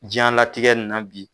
Jɛnlatigɛ nin na bi